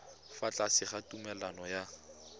fa tlase ga tumalano ya